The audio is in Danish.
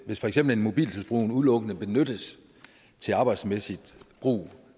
hvis for eksempel en mobiltelefon udelukkende benyttes til arbejdsmæssigt brug